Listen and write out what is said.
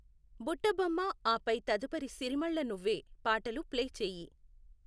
బుట్ట బొమ్మ ఆపై తదుపరి సిరిమళ్ళ నువ్వే పాటలు ప్లే చేయి